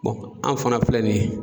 Bɔn an fana filɛ nin ye